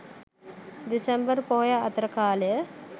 දෙසැම්බර් පොහොය අතර කාලය.